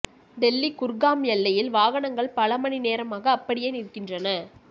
டெல்லி குர்காம் எல்லையில் வாகனங்கள் பல மணி நேரமாக அப்படியே நிற்கின்றன